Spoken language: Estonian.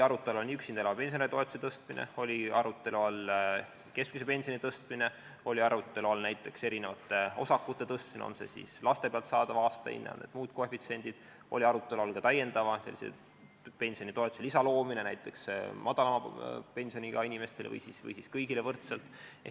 Arutelu all oli üksinda elava pensionäri toetuse tõstmine, arutelu all oli keskmise pensioni tõstmine, arutelu all oli näiteks erinevate osakute suurendamine, on see siis laste pealt saadav aastahinne või on need muud koefitsiendid, arutelu all oli ka pensionilisa loomine näiteks madalama pensioniga inimestele või siis kõigile võrdselt.